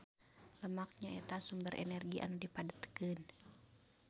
Lemak nyaeta sumber energi anu dipadetkeun.